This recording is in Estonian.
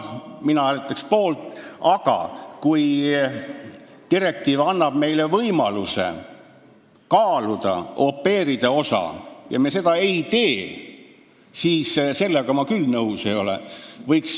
Mina hääletaks poolt, aga kui direktiiv annab meile võimaluse kaaluda au pair'ide osa ja me seda ei tee, siis sellega ma küll nõus ei ole.